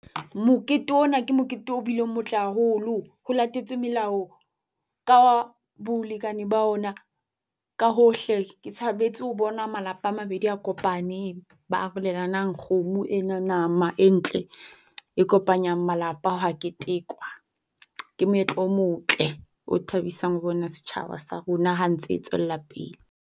Mokete ona ke mokete o bileng motle haholo. Ho latetswe melao ka bolekane ba ona ka hohle. Ke thabetse ho bona malapa a mabedi a kopaneng ba arolelana kgomo ena nama entle. E kopanya malapa ha ketekwa. Ke moetlo o motle o thabisang ho bona setjhaba sa rona ha ntse e tswella pele.